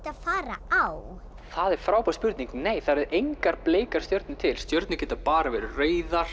að fara á frábær spurning nei það eru engar bleikar stjörnur til stjörnur geta bara verið rauðar